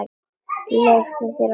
Leyfðu þér að hlæja.